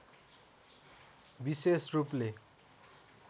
विशेष रूपले